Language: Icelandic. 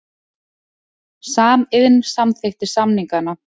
Samiðn samþykkti samningana